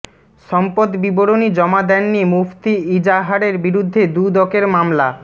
সম্পদ বিবরণী জমা দেননি মুফতি ইজাহারের বিরুদ্ধে দুদকের মামলা